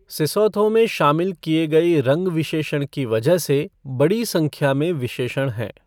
Sesotho में शामिल किए गए रंग विशेषण की वजह से बड़ी संख्या में विशेषण हैं।